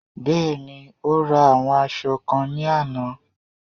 Bẹ́ẹ̀ni, o ra àwọn aṣọ kan ní àná